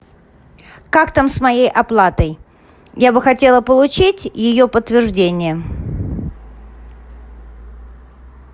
как там с моей оплатой я бы хотела получить ее подтверждение